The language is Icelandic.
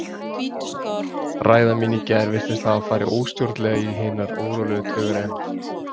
Ræða mín í gær virtist hafa farið óstjórnlega í hinar órólegu taugar EmJ.